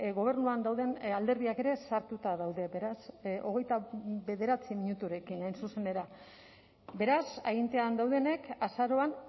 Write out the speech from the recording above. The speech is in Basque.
gobernuan dauden alderdiak ere sartuta daude beraz hogeita bederatzi minuturekin hain zuzen ere beraz agintean daudenek azaroan